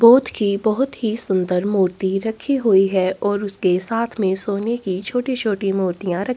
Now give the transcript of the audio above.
बुद्ध की बहुत ही सुंदर मूर्ति रखी गई है और उसके साथ में सोने की छोटी-छोटी मूर्तियां र--